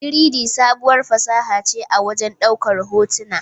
3-D, sabuwar fasaha ce a wajen ɗaukar hotuna.